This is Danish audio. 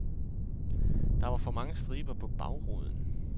Der var for mange striber på bagruden.